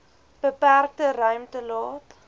beperkte ruimte laat